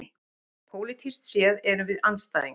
Pólitískt séð erum við andstæðingar